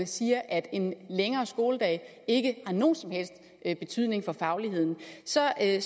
siger at en længere skoledag ikke har nogen som helst betydning for fagligheden så er det